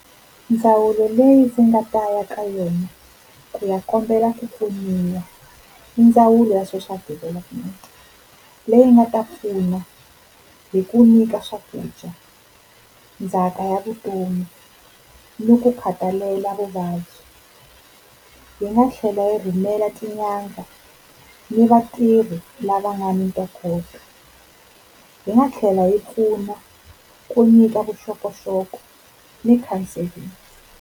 Ndzawulo leyi ndzi nga ta ya ka yona ku ya kombela ku pfuniwa i ndzawulo ya Social Development leyi nga ta pfuna hi ku nyika swakudya, ndzhaka ya vutomi ni ku khathalela vuvabyi. Yi nga tlhela yi rhumela tin'anga ni vatirhi lava nga ni ntokoto. Yi nga tlhela yi pfuna ku nyika vuxokoxoko ni counselling.